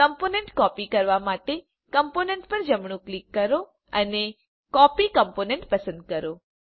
component copy કરવા માટે component પર જમણું ક્લિક કરો અને કોપી કોમ્પોનન્ટ પસંદ કરો